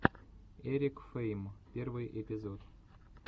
эрик фейм первый эпизод